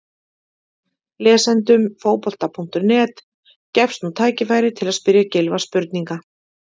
Lesendum Fótbolta.net gefst nú tækifæri til að spyrja Gylfa spurninga.